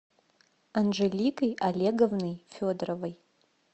анжеликой олеговной федоровой